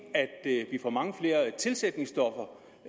vi får mange flere tilsætningsstoffer